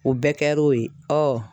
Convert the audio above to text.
O bɛɛ kɛ l'o ye